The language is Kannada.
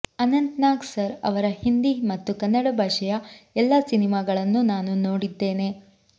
ಅನಂತ್ ನಾಗ್ ಸರ್ ಅವರ ಹಿಂದಿ ಮತ್ತು ಕನ್ನಡ ಭಾಷೆಯ ಎಲ್ಲಾ ಸಿನಿಮಾಗಳನ್ನು ನಾನು ನೋಡಿದ್ದೇನೆ